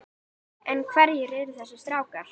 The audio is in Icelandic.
En hverjir eru þessir strákar?